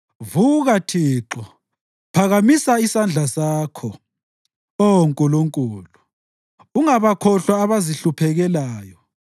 Vuka, Thixo! Phakamisa isandla sakho, Oh Nkulunkulu. Ungabakhohlwa abazihluphekelayo.